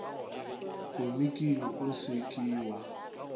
komiking o se ke wa